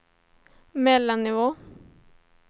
mellannivå